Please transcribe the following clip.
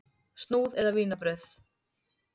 Snúð eða vínarbrauð?